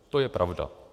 To je pravda.